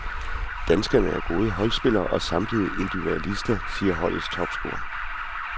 Danskerne er gode holdspillere og samtidig individualister, siger holdets topscorer.